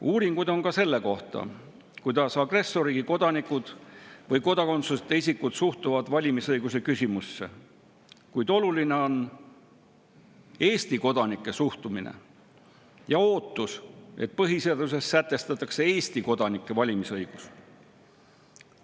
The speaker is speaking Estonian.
Uuringuid on ka selle kohta, kuidas agressorriigi kodanikud või kodakondsuseta isikud suhtuvad valimisõiguse küsimusse, kuid oluline on Eesti kodanike suhtumine ja ootus, et põhiseaduses sätestatakse Eesti kodanike valimisõigus.